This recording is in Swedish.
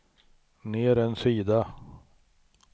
ner en sida